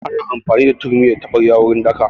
Ana amfani da turmi da taɓarya wurin daka